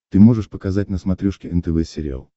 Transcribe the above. ты можешь показать на смотрешке нтв сериал